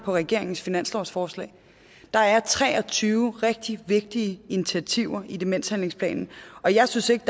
regeringens finanslovsforslag der er tre og tyve rigtig vigtige initiativer i demenshandlingsplanen og jeg synes ikke